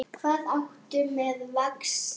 Hvað áttu við með vexti?